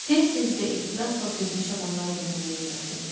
Tez-tez və ehtirasla sevmiş adamları da nümunə gətirdilər.